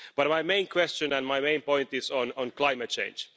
But my main question and my main point is on climate change.